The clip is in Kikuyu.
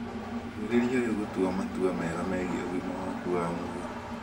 Ambĩrĩrie rĩu gũtua matua mega megiĩ ũgima waku wa mwĩrĩ.